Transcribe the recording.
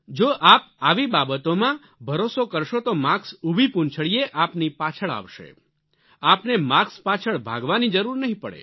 જો આપ આવી બાબતોમાં ભરોસો કરશો તો માર્ક્સ ઉભી પૂંછડીએ આપની પાછળ આવશે આપને માર્કસ પાછળ ભાગવાની જરૂર નહીં પડે